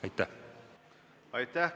Aitäh!